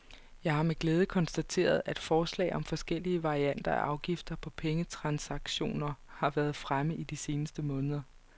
Jeg har med glæde konstateret, at forslag om forskellige varianter af afgifter på pengetransaktioner har været fremme i de seneste måneder.